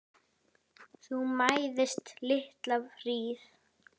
Þú mæðist litla hríð.